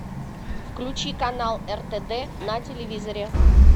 включи канал ртд на телевизоре